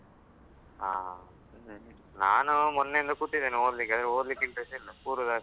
ಹಾ. ನಾನು ಮೊನ್ನೆಯಿಂದ ಕೂತಿದ್ದೇನೆ ಓದ್ಲಿಕ್ಕೆ, ಓದ್ಲಿಕ್ಕೆ interest ಇಲ್ಲ ಕೂರುದು ಅಷ್ಟೆ.